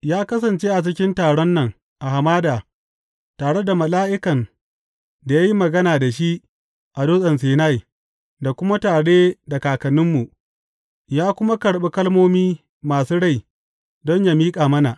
Ya kasance a cikin taron nan a hamada, tare da mala’ikan da ya yi magana da shi a Dutsen Sinai, da kuma tare da kakanninmu; ya kuma karɓi kalmomi masu rai don yă miƙa mana.